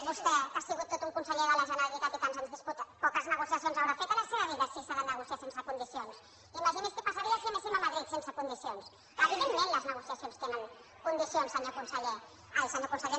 vostè que ha sigut tot un conseller de la generalitat i tants anys diputat poques negociacions deu haver fet en la seva vida si s’ha de negociar sense condicions imagini’s què passaria si anéssim a madrid sense condicions evidentment les negociacions tenen condicions senyor conseller